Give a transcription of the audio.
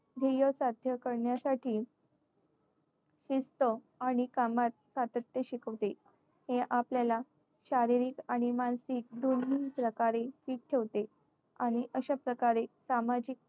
ध्येय साध्य करण्यासाठी शिस्त आणि कामात सातत्य शिकवते. खेळ आपल्याला शारीरिक आणि मानसिक दोन्ही प्रकारे ठीक ठेवते. आणि अशा प्रकारे सामाजिक